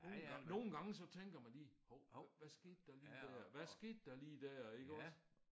Nogle gange nogle gange så tænker man lige hov hvad skete der lige der hvad skete der lige der iggås